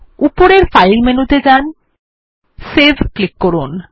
উপরের ফাইল মেনুতে যান সেভ ক্লিক করুন